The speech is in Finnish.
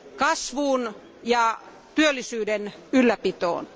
kasvuun ja työllisyyden ylläpitoon.